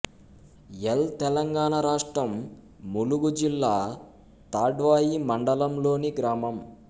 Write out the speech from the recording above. L Telangana రాష్ట్రం ములుగు జిల్లా తాడ్వాయి మండలంలోని గ్రామం